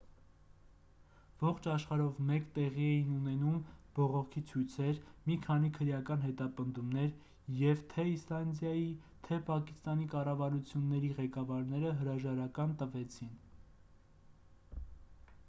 ողջ աշխարհով մեկ տեղի էին ունենում բողոքի ցույցեր մի քանի քրեական հետապնդումներ և թե իսլանդիայի թե պակիստանի կառավարությունների ղեկավարները հրաժարական տվեցին